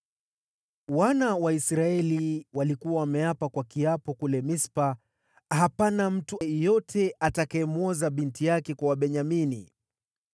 Wana wa Israeli walikuwa wameapa kwa kiapo kule Mispa: “Hapana mtu yeyote atakayemwoza binti yake kwa Wabenyamini.”